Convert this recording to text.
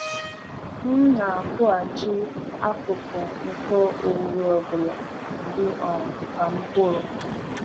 M na-akụghachi akụkụ nke owuwe ọ bụla dị um ka mkpụrụ.